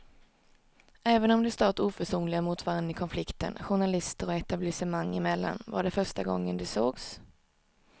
Även om de stått oförsonliga mot varann i konflikten journalister och etablissemang emellan var det första gången de sågs.